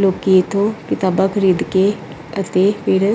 ਲੋਕੀ ਇਥੋਂ ਕਿਤਾਬਾਂ ਖਰੀਦ ਕੇ ਅਤੇ ਫਿਰ।